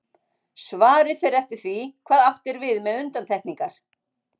Svarið fer eftir því hvað átt er við með undantekningar.